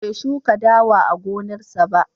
Bai shuka dawa a gonarsa.